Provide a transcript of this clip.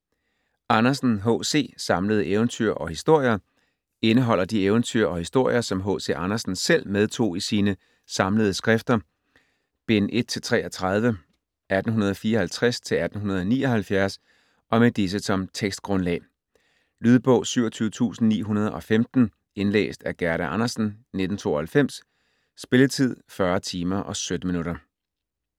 Andersen, H. C.: Samlede eventyr og historier Indeholder de eventyr og historier som H.C. Andersen selv medtog i sine "Samlede skrifter", bind 1-33, 1854-1879 og med disse som tekstgrundlag. Lydbog 27915 Indlæst af Gerda Andersen, 1992. Spilletid: 40 timer, 17 minutter.